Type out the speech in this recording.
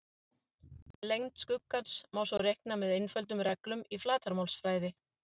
Lengd skuggans má svo reikna með einföldum reglum úr flatarmálsfræði.